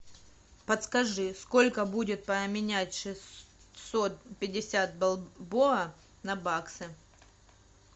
подскажи сколько будет поменять шестьсот пятьдесят бальбоа на баксы